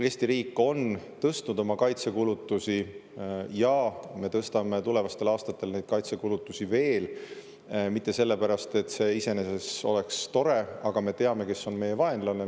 Eesti riik on tõstnud oma kaitsekulutusi ja me tõstame tulevastel aastatel neid kaitsekulutusi veel – mitte sellepärast, et see iseenesest oleks tore, aga me teame, kes on meie vaenlane.